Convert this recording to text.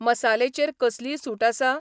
मसाले चेर कसलीय सूट आसा ?